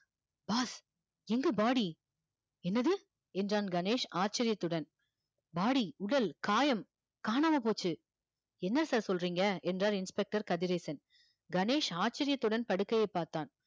boss எங்க body என்னது என்றான் கணேஷ் ஆச்சரியத்துடன் body உடல் காயம் காணாம போச்சு என்ன sir சொல்றீங்க என்றார் inspector கதிரேசன் கணேஷ் ஆச்சரியத்துடன் படுக்கையைப் பார்த்தான்